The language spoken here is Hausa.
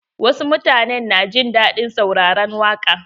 Wasu mutanen na jin daɗin sauraran waƙa.